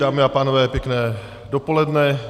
Dámy a pánové, pěkné dopoledne.